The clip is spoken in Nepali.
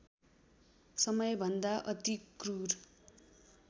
समयभन्दा अति क्रूर